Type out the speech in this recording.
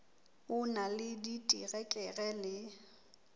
o na le diterekere le